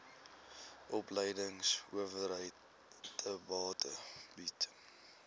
opleidingsowerheid theta bied